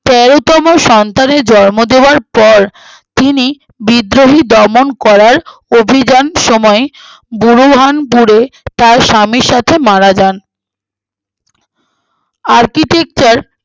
তেরোতম সন্তানের জন্ম দেওয়ার পর তিনি বিদ্রোহী দমন করার অভিযান সময়ে বুহরুহানপুরে তার স্বামীর সাথে মারা যান architecture